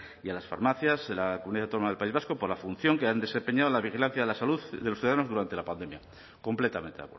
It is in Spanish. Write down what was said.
y a las farmacias en la comunidad autónoma del país vasco por la función que han desempeñado en la vigilancia de la salud de los ciudadanos durante la pandemia completamente